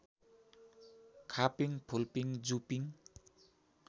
खापिङ फुलपिङ जुपिङ